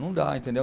Não dá, entendeu?